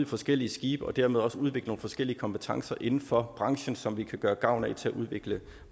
forskellige skibe og dermed også udvikle nogle forskellige kompetencer inden for branchen som vi kan gøre gavn af til at udvikle